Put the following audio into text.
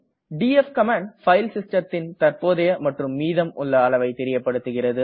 DF command file system ன் தற்போதைய மற்றும் மீதம் உள்ள அளவை தெரியப்படுகிறது